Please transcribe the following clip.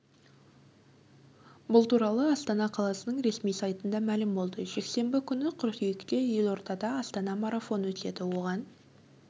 бұл туралы астана қаласының ресми сайтында мәлім болды жексенбі күні қыркүйекте елордада астана марафон өтеді оған